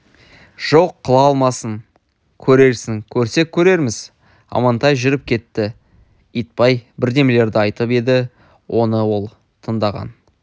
жоқ қыла алмассың көрерсің көрсек көрерміз амантай жүріп кетті итбай бірдемелерді айтып еді оны ол тыңдаған